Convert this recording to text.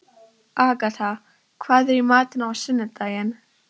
Agatha, hvað er í matinn á sunnudaginn?